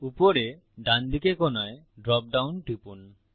উপরে ডানদিকে কোনায় ড্রপ ডাউন টিপুন